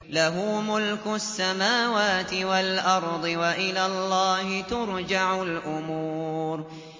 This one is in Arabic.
لَّهُ مُلْكُ السَّمَاوَاتِ وَالْأَرْضِ ۚ وَإِلَى اللَّهِ تُرْجَعُ الْأُمُورُ